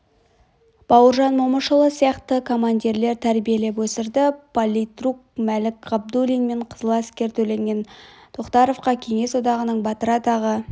бауыржан момышұлы сияқты командирлер тәрбиелеп өсірді политрук мәлік ғабдуллин мен қызыл әскер төлеген тоқтаровқа кеңес одағының батыры атағы